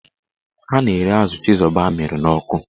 Ọ na-ere azụ chizoba amịrị n'ọkụ.